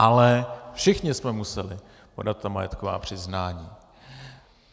Ale všichni jsme museli podat ta majetková přiznání.